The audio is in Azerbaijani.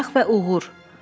Fırıldaq və Uğur.